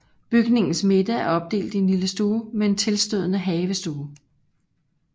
Bygningens midte er opdelt i en lille stue med en tilstødende havestue